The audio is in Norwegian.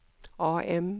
AM